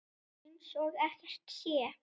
Eins og ekkert sé!